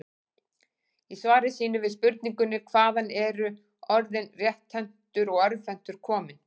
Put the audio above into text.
Í svari sínu við spurningunni Hvaðan eru orðin rétthentur og örvhentur komin?